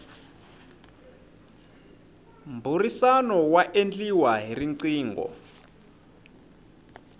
mbhurisano wa endliwa hi rqingho